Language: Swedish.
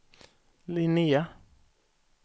Linnéa